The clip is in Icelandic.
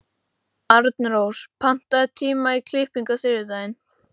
Arnrós, pantaðu tíma í klippingu á þriðjudaginn.